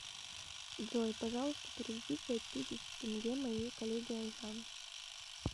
джой пожалуйста переведи пять тысяч тенге моей коллеге айжан